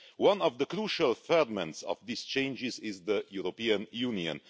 One of the crucial ferments of these changes is the European Union.